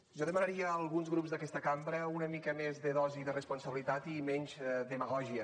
jo demanaria a alguns grups d’aquesta cambra una mica més de dosi de responsabilitat i menys demagògia